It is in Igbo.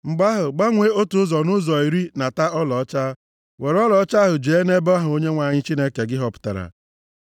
mgbe ahụ, gbanwee otu ụzọ nʼụzọ iri nata ọlaọcha, were ọlaọcha ahụ jee nʼebe ahụ Onyenwe anyị Chineke gị họpụtara.